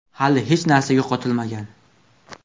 Hali hech narsa yo‘qotilmagan.